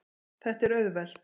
Þetta er auðvelt.